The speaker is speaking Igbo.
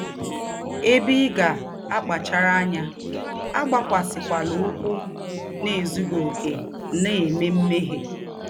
Ebe ị ga - akpachara anya: Agbakwasịkwala ụkwụ n’ezụghị ọkè na - eme mmehie.